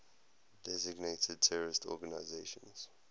designated terrorist organizations